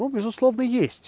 безусловно есть